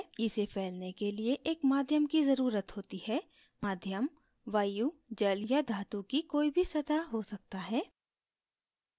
इसे फैलने के लिए एक माध्यम की ज़रुरत होती है माध्यम वायु जल या धातु की कोई भी सतह हो सकता है